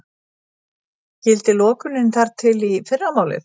Gildir lokunin þar til í fyrramálið